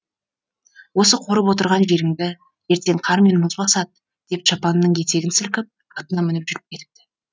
осы қорып отырған жеріңді ертең қар мен мұз басады деп шапанының етегін сілкіп атына мініп жүріп кетіпті